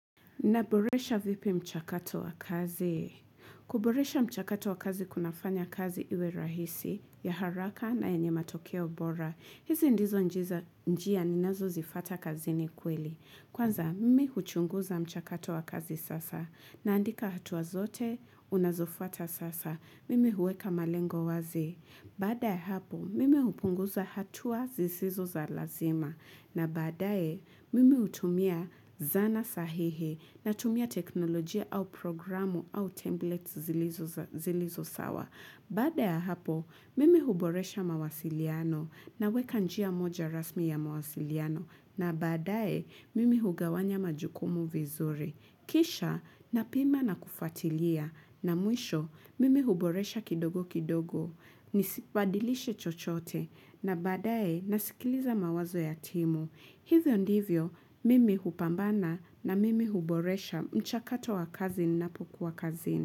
Naboresha vipi mchakato wa kazi? Kuboresha mchakato wa kazi kunafanya kazi iwe rahisi ya haraka na enye matokeo bora. Hizi ndizo njia ninazozifuata kazini kweli. Kwanza mimi huchunguza mchakato wa kazi sasa. Naandika hatuwa zote, unazofuata sasa. Mimi huweka malengo wazi. Baada ya hapo, mimi hupunguza hatuwa zisizo za lazima. Na badae, mimi utumia zana sahihi na tumia teknolojia au programu au templates zilizo sawa. Bada ya hapo, mimi huboresha mawasiliano naweka njia moja rasmi ya mawasiliano. Na badae, mimi hugawanya majukumu vizuri. Kisha, napima na kufuatilia. Na mwisho, mimi huboresha kidogo kidogo. Nisibadilishe chochote. Na badae nasikiliza mawazo ya timu. Hivyo ndivyo, mimi hupambana na mimi huboresha mchakato wa kazi ninapokuwa kazini.